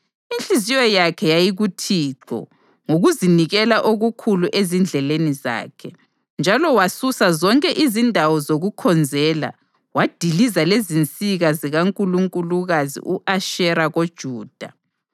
Inhliziyo yakhe yayi kuThixo ngokuzinikela okukhulu ezindleleni zakhe; njalo wasusa zonke izindawo zokukhonzela wadiliza lezinsika zikankulunkulukazi u-Ashera koJuda.